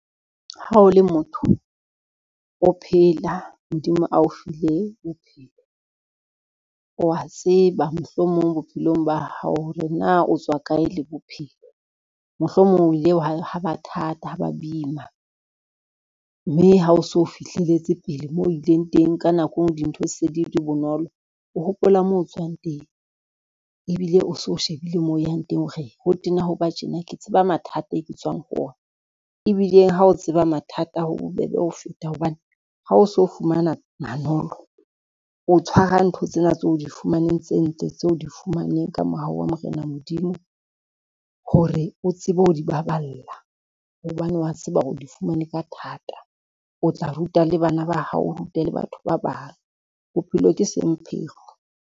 Ha o le motho, o phela Modimo ao file o bophelo, o a tseba mohlomong bophelong ba hao hore na o tswa kae le bophelo. Mohlomong o ile ha ba thata, ha ba boima, mme ha o so fihlelletse pele moo o ileng teng ka nako eo dintho se di di bonolo, o hopola mo o tswang teng ebile o so o shebile mo o yang teng hore, ho tena ho ba tjena ke tseba mathata e ke tswang ho ona, ebile ha o tseba mathata ho bobebe ho feta hobane ha o so fumana manolo, o tshwara ntho tsena tse o di fumaneng tse ntle tseo o di fumaneng ka mohau wa Morena Modimo, hore o tsebe ho di baballa hobane wa tseba hore o di fumane ka thata, o tla ruta le bana ba hao, o rute le batho ba bang bophelo ke semphekgo.